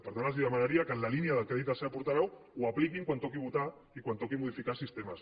per tant els demanaria que en la línia del que ha dit la seva portaveu ho apliquin quan toqui votar i quan toqui modificar sistemes